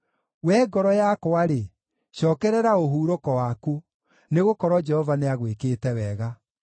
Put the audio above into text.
Wee ngoro yakwa-rĩ, cookerera ũhurũko waku, nĩgũkorwo Jehova nĩagwĩkĩte wega.